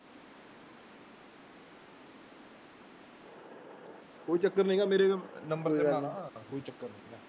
ਕੋਈ ਚੱਕਰ ਨੀਗਾ ਮੇਰੇ number ਤੇ ਕੋਈ ਚੱਕਰ ਨੀਗਾ।